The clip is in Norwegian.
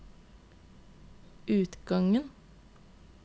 utgangen